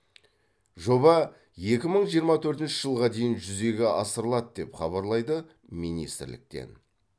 жоба екі мың жиырма төртінші жылға дейін жүзеге асырылады деп хабарлайды министрліктен